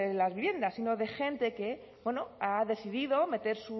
las viviendas sino de gente que bueno ha decidido meter